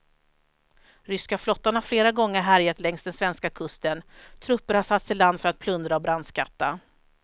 Ryska flottan har flera gånger härjat längs den svenska kusten, trupper har satts i land för att plundra och brandskatta.